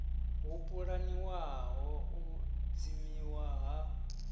ho pulaniwaho u dzimiwa ha